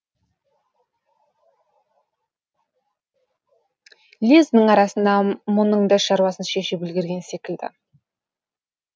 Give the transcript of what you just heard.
лездің арасында мұның да шаруасын шешіп үлгерген секілді